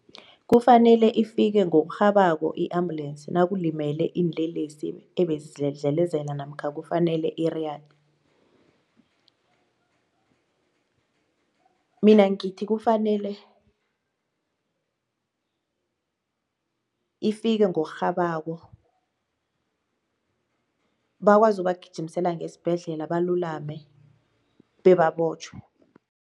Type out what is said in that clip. Kufanele ifike ngokurhabako i-ambulensi nakulimele iinlelesi ebezidlelezela namkha kufanele iriyade? Mina ngithi kufanele ifike ngokurhabako bakwazi ukubagijimisela ngesibhedlela balulame bebabotjhwe.